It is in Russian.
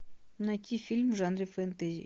найти фильм в жанре фэнтези